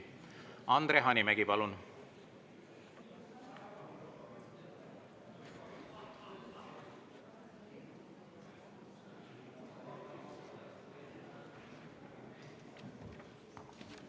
Andre Hanimägi, palun!